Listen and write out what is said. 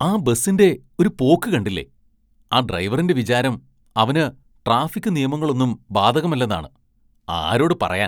ആ ബസ്സിന്റെ ഒരു പോക്ക് കണ്ടില്ലേ, ആ ഡ്രൈവറിന്റെ വിചാരം അവന് ട്രാഫിക്ക് നിയമങ്ങളൊന്നും ബാധകമല്ലെന്നാണ്, ആരോട് പറയാന്‍